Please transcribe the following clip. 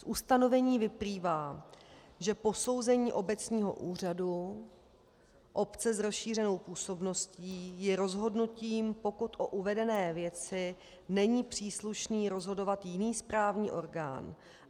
Z ustanovení vyplývá, že posouzení obecního úřadu obce s rozšířenou působností je rozhodnutím, pokud o uvedené věci není příslušný rozhodovat jiný správní orgán.